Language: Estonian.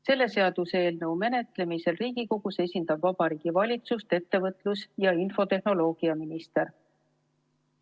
Selle seaduseelnõu menetlemisel Riigikogus esindab Vabariigi Valitsust ettevõtlus‑ ja infotehnoloogiaminister.